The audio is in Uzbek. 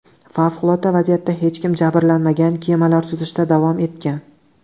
Favqulodda vaziyatda hech kim jabrlanmagan, kemalar suzishda davom etgan.